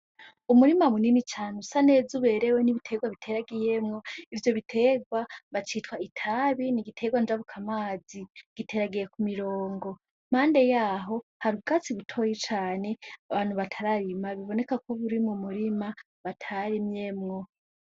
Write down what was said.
Umurima munini cane usaneza uberewe n'ibitegwa biteragiyemwo ivyo bitegwa bacitwa itabi n'igitegwa njabukamazi giteragiye kumirongo. Impande yaho hari ubwatsi butoyi cane abantu batararima bibonekako buri mu murima batarimyemwo.